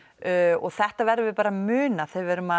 og þetta verðum við bara að muna þegar við erum að